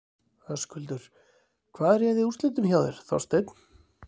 Höskuldur: Hvað réði úrslitum hjá þér, Þorsteinn?